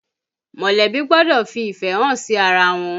Mọ̀lẹ́bí gbọ́dọ̀ fi ìfẹ́ hàn sí ara wọn